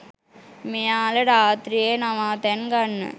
මෙයාල රාත්‍රියේ නවාතැන් ගන්න